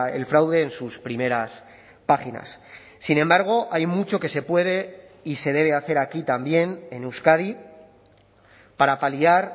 el fraude en sus primeras páginas sin embargo hay mucho que se puede y se debe hacer aquí también en euskadi para paliar